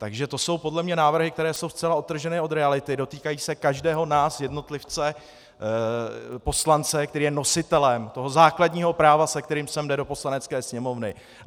Takže to jsou podle mě návrhy, které jsou zcela odtržené od reality, dotýkají se každého nás, jednotlivce, poslance, který je nositelem toho základního práva, se kterým sem jde do Poslanecké sněmovny.